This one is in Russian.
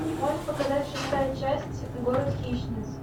можешь показать шестая часть город хищниц